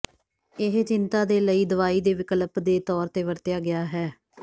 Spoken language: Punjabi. ਇਹ ਚਿੰਤਾ ਦੇ ਲਈ ਦਵਾਈ ਦੇ ਵਿਕਲਪ ਦੇ ਤੌਰ ਤੇ ਵਰਤਿਆ ਗਿਆ ਹੈ